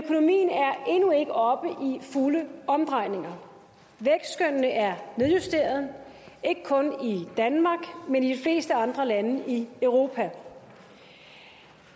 fulde omdrejninger vækstskønnene er nedjusterede ikke kun i danmark men i de fleste andre lande i europa